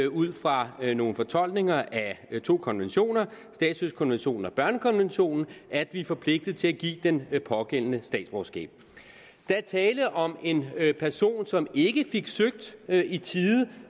ud fra nogle fortolkninger af to konventioner statsløsekonventionen og børnekonventionen at vi er forpligtet til at give den pågældende statsborgerskab der er tale om en person som ikke fik søgt i tide